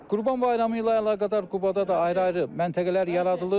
Qurban bayramı ilə əlaqədar Qubada da ayrı-ayrı məntəqələr yaradılıb.